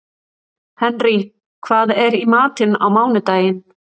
Henrý, hvað er í matinn á mánudaginn?